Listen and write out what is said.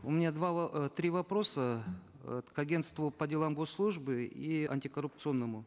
у меня два э три вопроса э к агентству по делам госслужбы и антикоррупционному